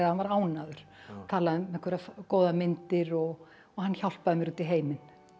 var ánægður talaði um einhverjar góðar myndir og hann hjálpaði mér út í heiminn